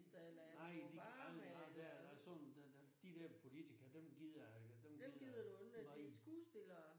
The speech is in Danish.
Nej det aldrig nej det ham der sådan der de er politikere dem gider jeg ikke dem gider jeg nej